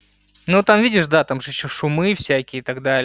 ну там видишь да там же что шумы всякие и так далее